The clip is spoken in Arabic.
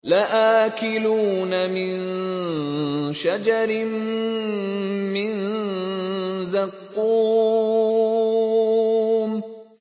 لَآكِلُونَ مِن شَجَرٍ مِّن زَقُّومٍ